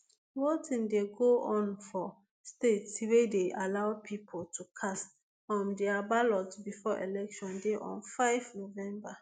voting dey go on for states wey dey allow pipo to cast um dia ballots before election day on five november